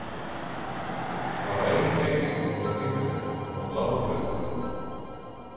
Bara ein hreyfing með fingrinum og hún lá flöt.